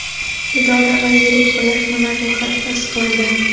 idora va yirik birlashmalari ro‘yxati tasdiqlandi.